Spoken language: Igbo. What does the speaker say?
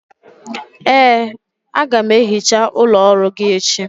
ee, a ga m ehicha ụlọ ọrụ gị echi